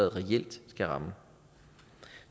reelt skal ramme